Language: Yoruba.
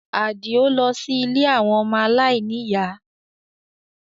Adio lọ sí ilé àwọn ọmọ aláìníyàá